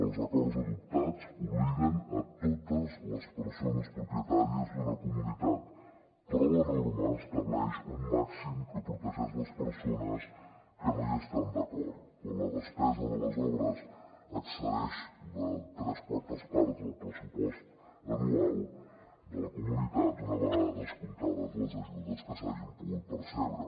els acords adoptats obliguen totes les persones propietàries d’una comunitat però la norma estableix un màxim que protegeix les persones que no hi estan d’acord quan la despesa de les obres excedeix de tres quartes parts del pressupost anual de la comunitat una vegada descomptades les ajudes que s’hagin pogut percebre